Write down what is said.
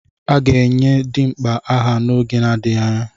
A ga-enye Dimkpa aha n'oge adịghị anya.